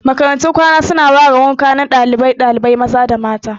Makarantun kwana su na ware gidan kwanan dalibai maza da na mata